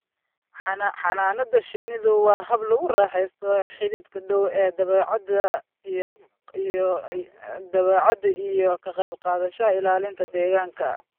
Xannaanada shinnidu waa hab lagu raaxaysto xidhiidhka dhow ee dabeecadda iyo ka qayb qaadashada ilaalinta deegaanka.